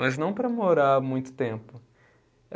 Mas não para morar muito tempo.